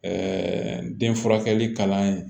den furakɛli kalan ye